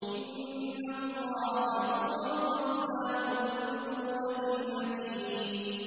إِنَّ اللَّهَ هُوَ الرَّزَّاقُ ذُو الْقُوَّةِ الْمَتِينُ